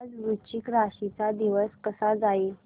आज वृश्चिक राशी चा दिवस कसा जाईल